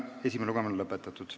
Esimene lugemine on lõpetatud.